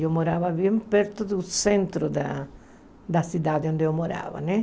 Eu morava bem perto do centro da da cidade onde eu morava, né?